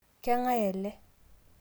keng'ae ele?